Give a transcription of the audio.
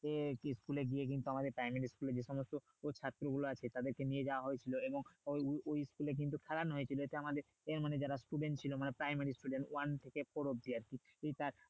দিয়ে school এ গিয়ে কিন্তু আমাদের primary school এর যে সমস্ত ছাত্রী গুলো আছে তাদেরকে নিয়ে যাওয়া হয়ে ছিল এবং ওই school এ কিন্তু খেলানো হয়ে ছিল যে আমাদের যারা student ছিল মানে primary school এর যাদের one থেকে four অবধি আরকি